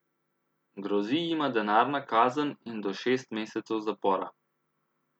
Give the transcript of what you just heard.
Grozi jima denarna kazen in do šest mesecev zapora.